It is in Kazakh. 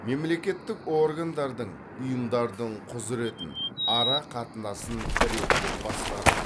мемлекеттік органдардың ұйымдардың құзіретін ара қатынасын реттеп басқару